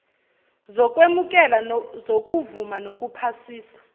zokwemukela zokuvuma nokuphasisa